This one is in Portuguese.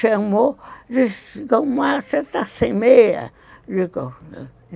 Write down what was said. Chamou, disse, você está sem meia.